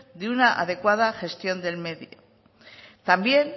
de una adecuada gestión del medio también